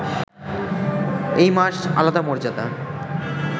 এই মাস আলাদা মর্যাদা